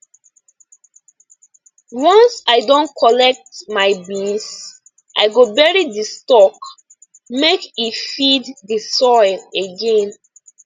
once i don collect my beans i go bury di stalk make e feed the soil again